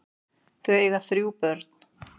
Þau eiga þrjú börn.